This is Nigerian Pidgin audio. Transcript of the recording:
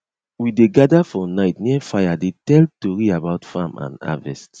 we dey gather for night near fire dey tell tori about farm and harvest